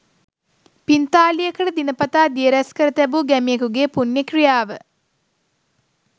පිංතාලියකට දින පතා දිය රැස්කර තැබූ ගැමියෙකු ගේ පුණ්‍ය ක්‍රියාව